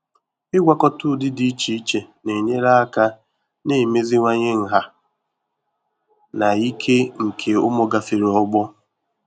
ịgwakọta ụdị dị iche iche na-enyere aka na-emeziwanye nha na ike nke ụmụ gafere ọgbọ.